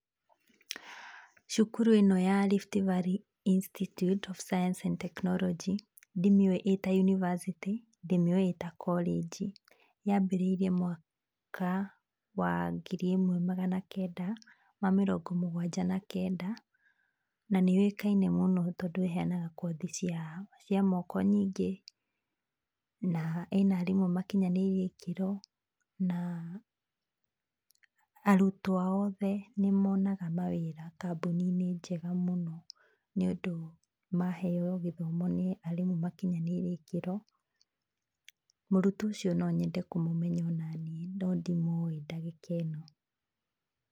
Cukuru ĩno ya Rift Valley institute of science and technology ndimĩũĩ ĩta University ndĩmĩũĩ ĩta korĩnji, ya mbĩrĩirie mwaka wa ngiri ĩmwe magana kenda ma mĩrongo mũgwanja na kenda, na nĩ yũĩkaine mũno tondũ ĩheanga kothi cia moko nyingĩ na ĩna arimũ makinyanĩirie ikĩro, na arutwo ao othe nĩ monaga mawĩra kambuni-inĩ njega mũno nĩ ũndũ maheo gĩthomo nĩ arimũ makinyanĩirie ikĩro, mũrutwo ũcio nonyende kũmũmenya onaniĩ no ndimũĩ ndagĩka ĩno.